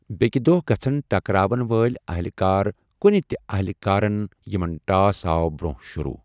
بیٛکہِ دۄہ گژھَن ٹکراوَن وٲلۍ اہلہِ کار کُنہِ تہِ اہلہِ کارَن یِمَن ٹاس آو برٛونٛہہ شروٗع۔